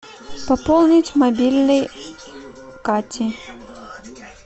пополнить мобильный кати